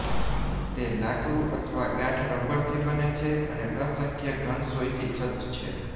તે લાકડું અથવા ગાઢ રબરથી બને છે અને અસંખ્ય ઘન સોયથી સજ્જ છે